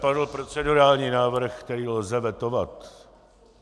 Padl procedurální návrh, který lze vetovat.